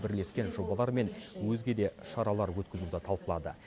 бірлескен жобалар мен өзге де шаралар өткізуді талқылады